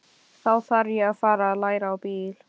Þá þarf ég að fara að læra á bíl.